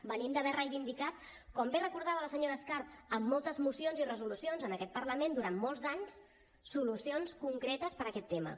venim d’haver reivindicat com bé recordava la senyora escarp amb moltes mocions i resolucions en aquest parlament durant molts d’anys solucions concretes per a aquest tema